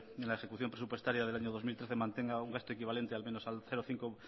en la ejecución presupuestaria del año dos mil trece mantenga un gasto equivalente al menos al cero coma cinco